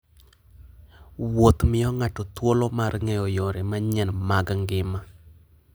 Wuoth miyo ng'ato thuolo mar ng'eyo yore manyien mag ngima.